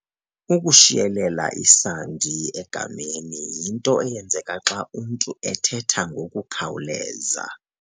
Ukushiyelela isandi egameni yinto eyenzeka xa umntu ethetha ngokukhawuleza.